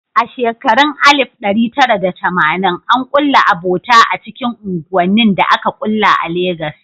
A shekarun 1980, an kulla abota a cikin unguwannin da aka ƙulla a Legas.